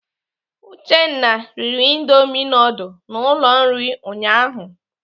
Uchenna riri indomi nudul na ụlọ nri ụnyaahụ.